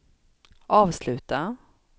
avsluta